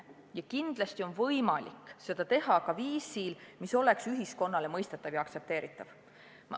Ja kindlasti on võimalik seda teha viisil, mis oleks ühiskonnale mõistetav ja aktsepteeritav.